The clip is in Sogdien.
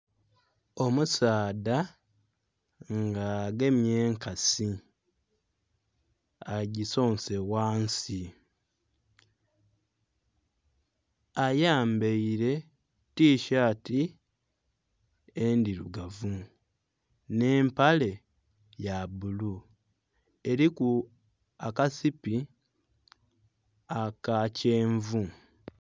Omusaadha nga agemye enkasi agisonse ghansi ayambaire tishati endhilugavu nhe mpale yabulu eliku akasipi aka kyenvu.